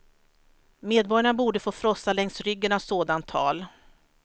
Medborgarna borde få frossa längs ryggen av sådant tal.